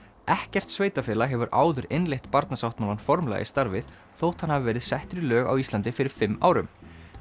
ekkert sveitarfélag hefur áður innleitt Barnasáttmálann formlega í starfið þótt hann hafi verið settur í lög á Íslandi fyrir fimm árum